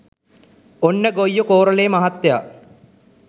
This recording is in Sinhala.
ඔන්න ගොයියෝ කෝරළේ මහත්තය